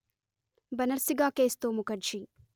బనర్సి గాకేశ్తో ముకర్జీ